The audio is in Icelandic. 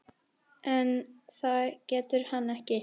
En það getur hann ekki.